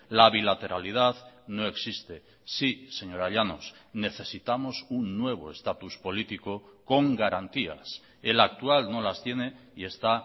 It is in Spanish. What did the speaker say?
la bilateralidad no existe sí señora llanos necesitamos un nuevo estatus político con garantías el actual no las tiene y está